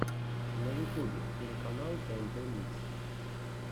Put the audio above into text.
на ютубе телеканал тнт микс